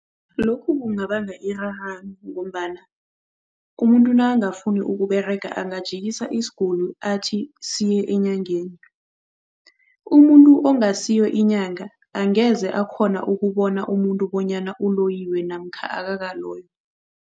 Lokhu kungabanga irarano ngombana umuntu nakangafuni ukuberega angajikisa isiguli athi siye enyangeni. Umuntu ongasiyo inyanga angeze akghona ukubona umuntu bonyana uloyiwe namkha akakaloywa.